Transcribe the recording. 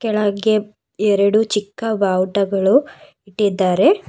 ಕೆಳಗೆ ಎರಡು ಚಿಕ್ಕ ಬಾವುಟಗಳು ಇಟ್ಟಿದ್ದಾರೆ.